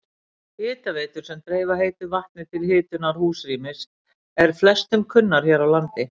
Hitaveitur sem dreifa heitu vatni til hitunar húsrýmis eru flestum kunnar hér á landi.